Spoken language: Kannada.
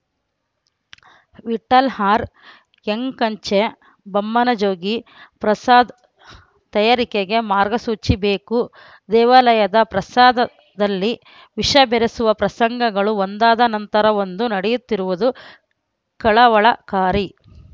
ವಿಠಲ ಆರ್‌ ಯಂಕಂಚೆ ಬಮ್ಮನಜೋಗಿ ಪ್ರಸಾದ ತಯಾರಿಕೆಗೆ ಮಾರ್ಗಸೂಚಿ ಬೇಕು ದೇವಾಲಯದ ಪ್ರಸಾದದಲ್ಲಿ ವಿಷ ಬೆರೆಸುವ ಪ್ರಸಂಗಗಳು ಒಂದಾದ ನಂತರ ಒಂದು ನಡೆಯುತ್ತಿರುವುದು ಕಳವಳಕಾರಿ